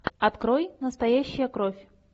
открой настоящая кровь